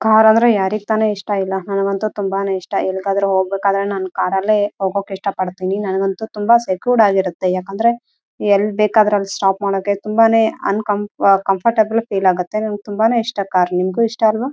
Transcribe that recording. ಇದರ ಮುಂಭಾಗದಲ್ಲಿ ನೀವು ಎರಡು ಮಂಚವನ್ನು ನೋಡಬಹುದು.